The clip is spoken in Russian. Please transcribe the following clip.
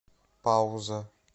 пауза